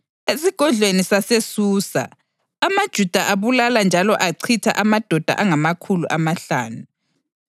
Esigodlweni saseSusa, amaJuda abulala njalo achitha amadoda angamakhulu amahlanu.